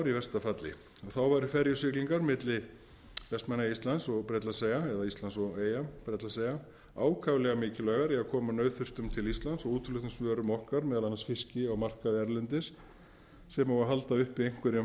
í versta falli þá væru ferjusiglingar milli vestmannaeyja til íslands og bretlandseyja eða íslands og eyja bretlandseyja ákaflega mikilvægar í að koma nauðþurftum til íslands og útflutningsvörum okkar á markaði erlendis sem og að halda uppi einhverjum